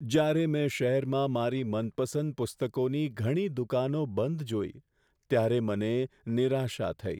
જ્યારે મેં શહેરમાં મારી મનપસંદ પુસ્તકોની ઘણી દુકાનો બંધ જોઈ, ત્યારે મને નિરાશા થઈ.